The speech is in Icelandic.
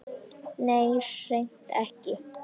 Nei, hreint ekki.